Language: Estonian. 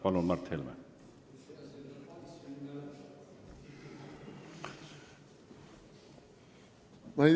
Palun, Mart Helme!